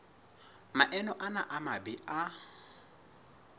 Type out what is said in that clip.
maemo ana a mabe a